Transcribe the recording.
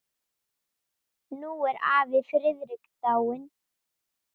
Nú er afi Friðrik dáinn.